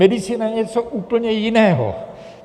Medicína je něco úplně jiného.